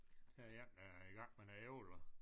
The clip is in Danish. Her er en der er i gang med nogle æbler